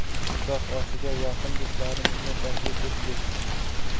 Nikoh oshiga yaqin do‘stlarimizni taklif etdik.